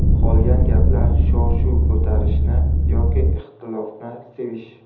Qolgan gaplar shov-shuv ko‘tarishni yoki ixtilofni sevish.